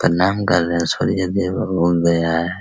प्रणाम कर रहे है सूर्य उदय